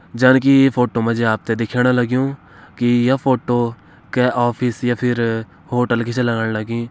जणकी ई फोटो मा जी आप त दिखेण लग्युं की ये फोटो कै ऑफिस या फिर होटल की छ लगण लगीं।